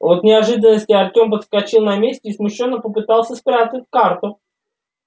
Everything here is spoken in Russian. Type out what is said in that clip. от неожиданности артём подскочил на месте и смущённо попытался спрятать карту